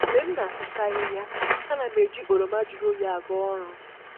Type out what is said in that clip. Mgbe m na-asụcha ahịhịa, ana m eji oroma jụrụ oyi aga ọrụ